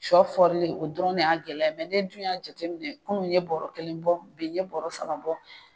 Sɔ fɔrilen o dɔrɔn de y'a gɛlɛya ne dun y'a jateminɛ ko n ye bɔrɔ kelen bɔ bi n ye bɔrɔ saba bɔ